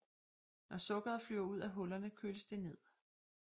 Når sukkeret flyver ud af hullerne køles det ned